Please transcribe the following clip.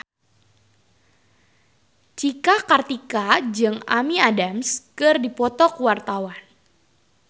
Cika Kartika jeung Amy Adams keur dipoto ku wartawan